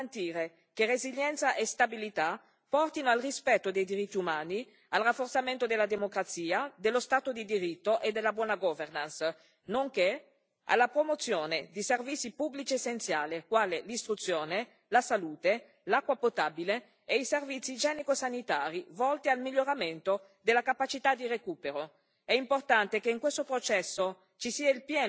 Nella prossima comunicazione, la Commissione dovrà garantire che resilienza e stabilità portino al rispetto dei diritti umani, al rafforzamento della democrazia, dello Stato di diritto e della buona governance, nonché alla promozione di servizi pubblici essenziali quali l'istruzione, la salute, l'acqua potabile e i servizi igienico sanitari volti al miglioramento della capacità di recupero.